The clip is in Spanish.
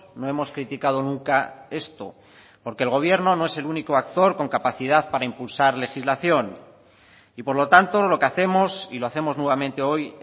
no hemos criticado nunca esto porque el gobierno no es el único actor con capacidad para impulsar legislación y por lo tanto lo que hacemos y lo hacemos nuevamente hoy